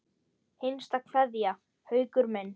HINSTA KVEÐJA Haukur minn.